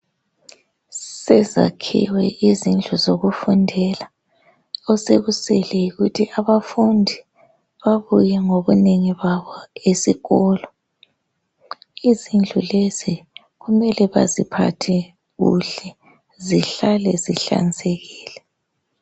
Sezakhiwe izindlu zokufundela osekusele yikuthi abafundi babuye ngobunengi babo esikolo izindlul ezi kumele baziphathe kuhle zihlale zihlanzekile